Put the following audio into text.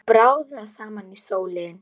Að bráðna saman í sólinni